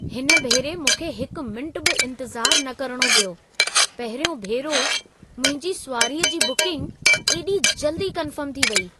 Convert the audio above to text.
हिन भेरे मूंखे हिकु मिंटु बि इंतज़ारु न करिणो पियो। पहिरियों भेरो मुंहिंजी सुवारीअ जी बुकिंग एॾी जल्दी कन्फर्म थी वई!